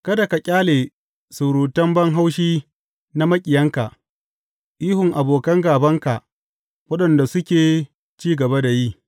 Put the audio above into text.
Kada ka ƙyale surutan ban haushi na maƙiyanka, ihun abokan gābanka, waɗanda suke ci gaba da yi.